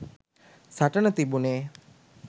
සටන තිබුනෙ